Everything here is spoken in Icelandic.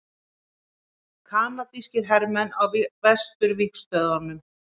Kanadískir hermenn á vesturvígstöðvunum.